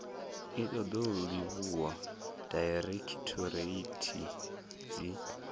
i ṱoḓou livhuwa dairekhithoreithi dzi